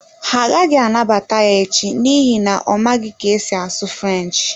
Ha agaghị anabata ya echi n’ihi na ọ maghị ka e si asụ French.